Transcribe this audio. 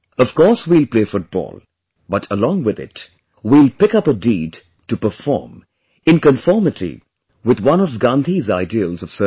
Of course we'll play football, but along with it, we'll pick up a deed to perform in conformity with one of Gandhi's ideals of service